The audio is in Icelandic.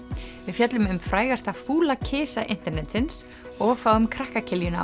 fjöllum um frægasta fúla kisa internetsins og fáum krakka